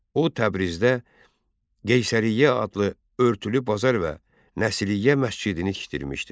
O, Təbrizdə Qeysəriyyə adlı örtülü bazar və Nəsliyyə məscidini tikdirmişdi.